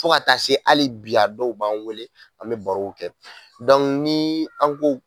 Fo ka taa se hali bi a dɔw b'an wele an bɛ barow kɛ an, n'i an ko